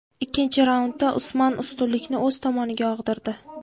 Ikkinchi raundda Usman ustunlikni o‘z tomoniga og‘dirdi.